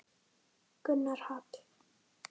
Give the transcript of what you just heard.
Gunnar Hall.